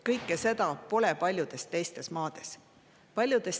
Kõike seda paljudes teistes maades pole.